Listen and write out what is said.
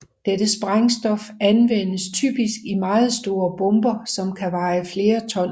Dette sprængstof anvendes typisk i meget store bomber som kan veje flere ton